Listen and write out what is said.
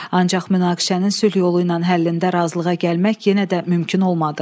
Ancaq münaqişənin sülh yolu ilə həllində razılığa gəlmək yenə də mümkün olmadı.